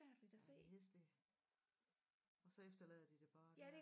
Ja det er hæsligt og så efterlader de det bare der